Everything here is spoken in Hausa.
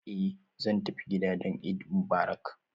Eh zan tafi gida don Eid Mubarak